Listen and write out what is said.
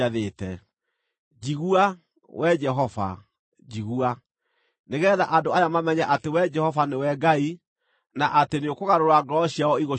Njigua, Wee Jehova, njigua, nĩgeetha andũ aya mamenye atĩ Wee Jehova nĩwe Ngai, na atĩ nĩũkũgarũra ngoro ciao igũcookerere.”